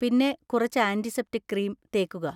പിന്നെ കുറച്ച് antiseptic cream തേക്കുക.